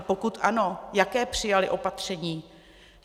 A pokud ano, jaké přijaly opatření?